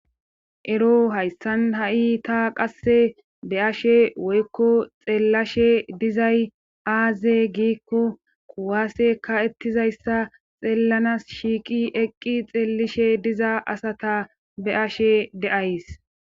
Ero hayssan ha7i ta qasse be ashe woykko xeellashe dizay aaze giikko kuwaase ka ettizayssa xeellanas shiiqi eqqi xeellishe diza asata be ashe de'ays.